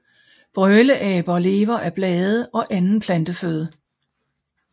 Brøleaber lever af blade og anden planteføde